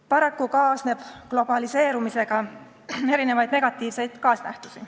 Paraku kaasneb globaliseerumisega erinevaid negatiivseid nähtusi.